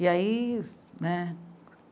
E aí, né?